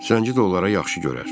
Zənci də onlara yaxşı görər.